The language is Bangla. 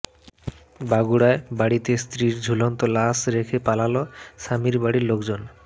বগুড়ায় বাড়িতে স্ত্রীর ঝুলন্ত লাশ রেখে পালাল স্বামীবাড়ির লোকজন